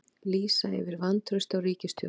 Lýsa yfir vantrausti á ríkisstjórn